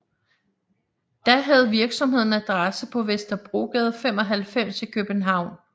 Da havde virksomheden adresse på Vesterbrogade 95 i København